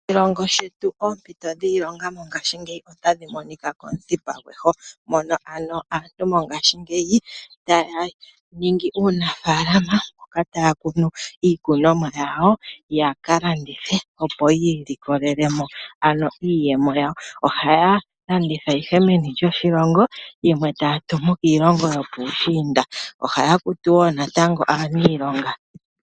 Oshilongo shetu oompito dhiilonga mongaashingeyi otadhi monika komuthipa gweho, mono ano mongashingeyi aantu taya ningi uunafalama mpoka taakunu iikunoma yawo opo yaka landithe, ohaya landitha meni lyoshilongo yimwe taatumu piilongo yopuushiinda yo ohaya kutu woo natango aaniilonga.